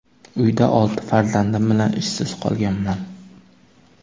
Uyda olti farzandim bilan ishsiz qolganman.